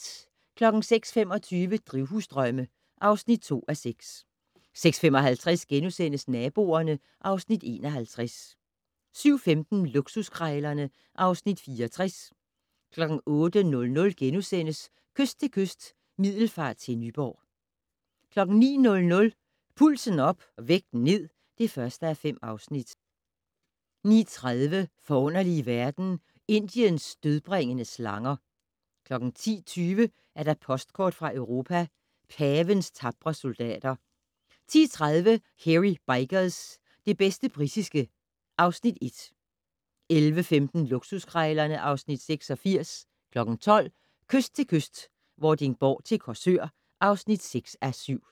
06:25: Drivhusdrømme (2:6) 06:55: Naboerne (Afs. 51)* 07:15: Luksuskrejlerne (Afs. 64) 08:00: Kyst til kyst - Middelfart til Nyborg (5:7)* 09:00: Pulsen op - vægten ned (1:5) 09:30: Forunderlige verden - Indiens dødbringende slanger 10:20: Postkort fra Europa: Pavens tapre soldater 10:30: Hairy Bikers - det bedste britiske (Afs. 1) 11:15: Luksuskrejlerne (Afs. 86) 12:00: Kyst til kyst - Vordingborg til Korsør (6:7)